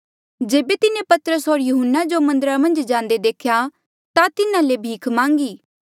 जेबे तिन्हें पतरस होर यहून्ना जो मन्दरा मन्झ जांदे देख्या ता तिन्हा ले भीख मांगी